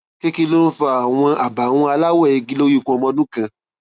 kí kí ló ń fa àwọn àbàwọn aláwọ igi lórí ikùn ọmọ ọdún kan